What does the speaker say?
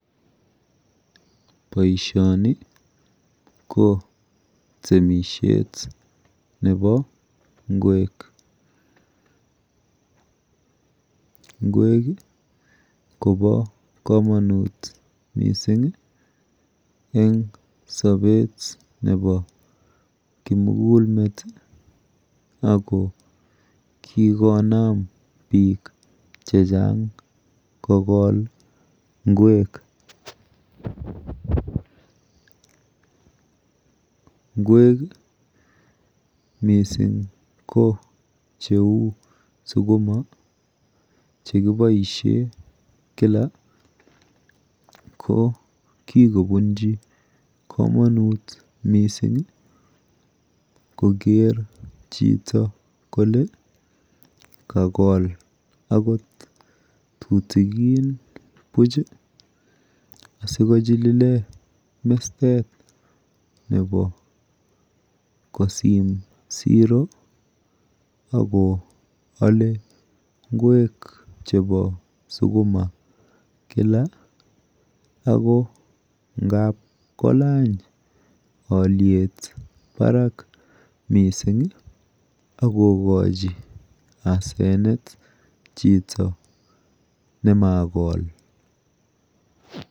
Boishoni ko temishet nepo ng'wek. Ng'wek kopo komonut mising eng sopet nepo kimugulmet ako kikonam biik chechang kokol ng'wek. Ng'wek mising ko cheu sukuma chekiboishe kila ko kikobunji komonut koker chito kole kakol akot tutikin buch asikochilile mestet nepo kosim siro akoale ng'wek chepo sukuma kila ako ngap kolany alyet barak mising akokochi asenet chito nemakol.